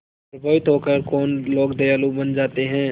प्रभावित होकर कौन लोग दयालु बन जाते हैं